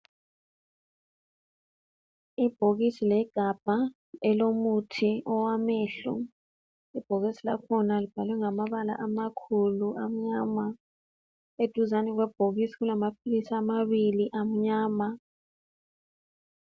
Ibhokisi legabha elomuthi owamehlo. Ibhokisi lakhona libhalwe ngamabala amakhulu amnyama. Eduzani kwebhokisi kulamaphilisi amabili amnyama.